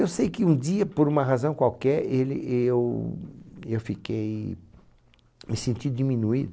Eu sei que um dia, por uma razão qualquer, ele eu eu fiquei, me senti